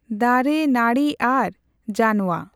ᱫᱟᱨᱮ ᱱᱟᱹᱬᱤ ᱟᱨ ᱡᱟᱱᱣᱟ᱾